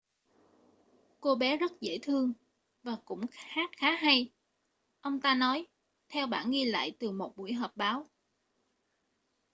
cô bé rất dễ thương và cũng hát khá hay ông ta nói theo bản ghi lại từ một buổi họp báo